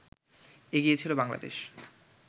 এগিয়ে ছিল বাংলাদেশ